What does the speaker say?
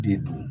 Den dun